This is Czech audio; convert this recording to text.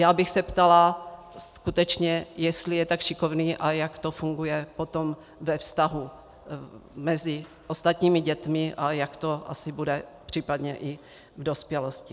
Já bych se ptala skutečně, jestli je tak šikovný a jak to funguje potom ve vztahu mezi ostatními dětmi a jak to asi bude případně i v dospělosti.